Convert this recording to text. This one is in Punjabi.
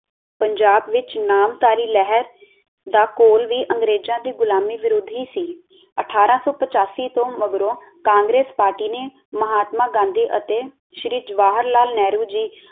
ਪੰਜਾਬ ਵਿਚ ਨਾਮਧਾਰੀ ਲਹਿਰ ਦਾ ਕੋਲ ਵੀ ਅੰਗਰੇਜ਼ਾਂ ਦੀ ਗੁਲਾਮੀ ਵਿਰੁੱਧ ਹੀ ਸੀ ਅਠਾਰਾਂ ਸੌ ਪਿਚਾਸੀ ਤੋਂ ਮਗਰੋਂ ਕਾਂਗਰੇਸ ਪਾਰਟੀ ਨੇ ਮਹਾਤਮਾ ਗਾਂਧੀ ਅਤੇ ਸ਼੍ਰੀ ਜਵਾਹਰ ਲਾਲ ਨਹਿਰੂ ਜੀ।